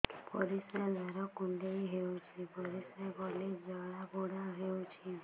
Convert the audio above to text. ପରିଶ୍ରା ଦ୍ୱାର କୁଣ୍ଡେଇ ହେଉଚି ପରିଶ୍ରା କଲେ ଜଳାପୋଡା ହେଉଛି